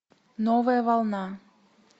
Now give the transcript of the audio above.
новая волна